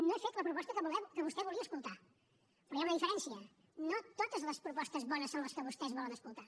no he fet la proposta que vostè volia escoltar però hi ha una diferència no totes les propostes bones són les que vostès volen escoltar